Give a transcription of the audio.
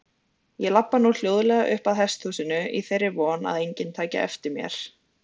Ég labba nú hljóðlega uppað hesthúsinu í þeirri von að enginn taki eftir mér.